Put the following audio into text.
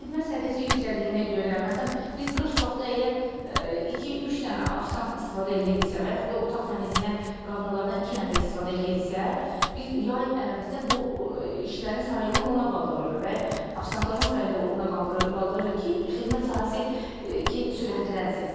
Xidmət səviyyəsi yüksəldiyinə görə, məsələn, biz qış vaxtı əgər iki, üç dənə ofisiant istifadə eləyirdiksə və yaxud da otaq təmizləyən qadınlardan iki nəfər istifadə eləyirdiksə, biz yay ərafəsində bu işlərin sayını ona qaldırırıq və ofisiantların sayını da ona qaldırırıq ki, xidmət sahəsi sürətlənsin.